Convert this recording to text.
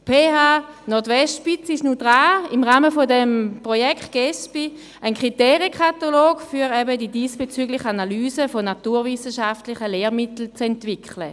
Die FHNW ist im Rahmen des Projekts Gender Equality School Book Index (Gesbi) daran, einen Kriterienkatalog für die diesbezügliche Analyse für naturwissenschaftliche Lehrmittel zu entwickeln.